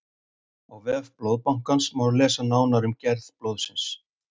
Á vef Blóðbankans má lesa nánar um gerð blóðsins.